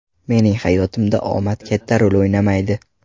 Mening hayotimda omad katta rol o‘ynamaydi.